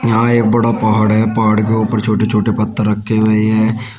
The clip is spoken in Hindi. यहां एक बड़ा पहाड़ है पहाड़ के ऊपर छोटे छोटे पत्थर रखे हुए हैं।